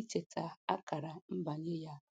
icheta akara mbanye ya